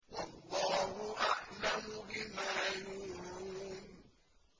وَاللَّهُ أَعْلَمُ بِمَا يُوعُونَ